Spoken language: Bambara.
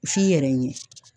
F'i yɛrɛ ɲɛ